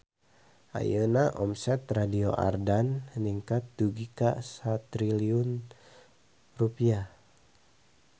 Ayeuna omset Radio Ardan ningkat dugi ka 1 triliun rupiah